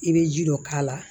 I bɛ ji dɔ k'a la